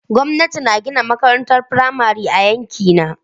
Gwamnati na gina makarantar firamare a yankina.